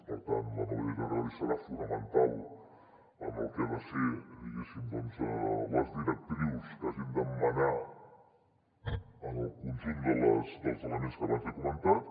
per tant la nova llei de territori serà fonamental en el que han de ser diguéssim les directrius que hagin de manar en el conjunt dels elements que abans li he comentat